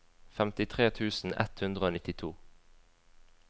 femtitre tusen ett hundre og nittito